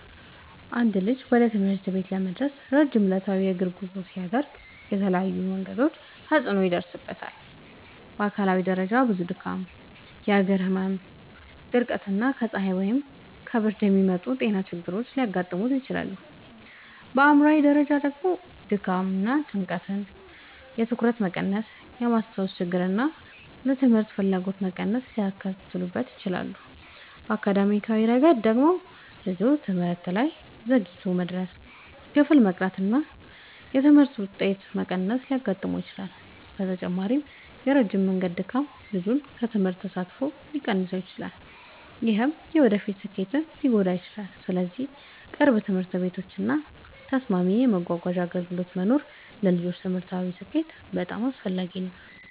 አንድ ልጅ ወደ ትምህርት ቤት ለመድረስ ረጅም ዕለታዊ የእግር ጉዞ ሲያደርግ በተለያዩ መንገዶች ተጽዕኖ ይደርስበታል። በአካላዊ ደረጃ ብዙ ድካም፣ የእግር ህመም፣ ድርቀት እና ከፀሐይ ወይም ከብርድ የሚመጡ ጤና ችግሮች ሊያጋጥሙት ይችላሉ። በአእምሯዊ ደረጃ ደግሞ ድካም እና ጭንቀት የትኩረት መቀነስን፣ የማስታወስ ችግርን እና ለትምህርት ፍላጎት መቀነስን ሊያስከትል ይችላል። በአካዳሚያዊ ረገድ ደግሞ ልጁ ትምህርት ላይ ዘግይቶ መድረስ፣ ክፍል መቅረት እና የትምህርት ውጤት መቀነስ ሊያጋጥሙት ይችላሉ። በተጨማሪም የረጅም መንገድ ድካም ልጁን ከትምህርት ተሳትፎ ሊያስቀር ይችላል፣ ይህም የወደፊት ስኬቱን ሊጎዳ ይችላል። ስለዚህ ቅርብ ትምህርት ቤቶች እና ተስማሚ የመጓጓዣ አገልግሎቶች መኖር ለልጆች ትምህርታዊ ስኬት በጣም አስፈላጊ ነው።